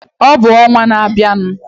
Ọ bụ n'ọnwa na-abịanu.